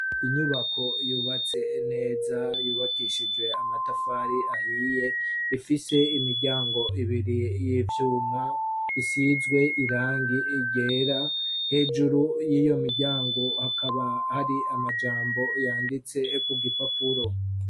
Inyubako yubatse neza yubakishije amatafari ahiye ifise imiryango ibiri y'ivyuma isizwe irangi ryera hejuru y'iyo miryango hakaba hari amajambo yanditse ku gipapuro.